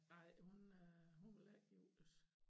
Nej hun øh hun vil ikke giftes